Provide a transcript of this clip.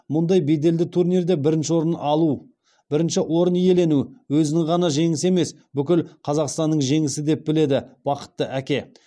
мұндай беделді турнирде бірінші орын иелену өзінің ғана жеңісі емес бүкіл қазақстанның жеңісі деп біледі бақытты әке